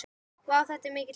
Vá, þetta er mikill heiður.